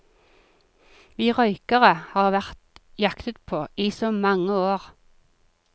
Vi røykere har vært jaktet på i så mange år.